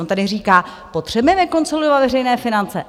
On tady říká - potřebujeme konsolidovat veřejné finance?